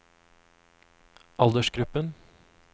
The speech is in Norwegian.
aldersgruppen